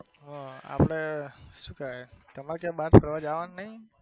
અ આપડે સુ કેવાય તમારે ક્યાંય બાર ફરવા જવાનું નઈ?